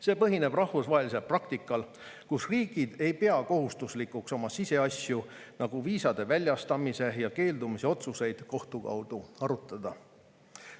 See põhineb rahvusvahelisel praktikal, kus riigid ei pea kohustuslikuks oma siseasju, nagu viisade väljastamise ja keeldumise otsuseid, kohtu kaudu arutada.